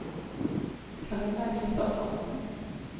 Camilla Kristoffersen